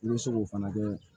I bɛ se k'o fana kɛ